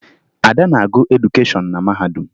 Ada na-agụ edukeshọn na mahadum